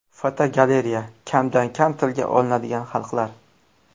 Fotogalereya: Kamdan kam tilga olinadigan xalqlar.